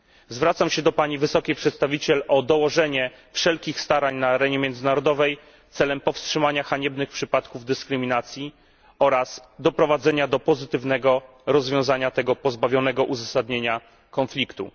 Zwracam się do Pani Wysokiej Przedstawiciel o dołożenie wszelkich starań na arenie międzynarodowej celem powstrzymania haniebnych przypadków dyskryminacji oraz doprowadzenia do pozytywnego rozwiązania tego pozbawionego uzasadnienia konfliktu.